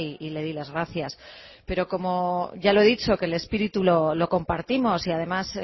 y le di las gracias pero como ya lo he dicho que el espíritu lo compartimos y además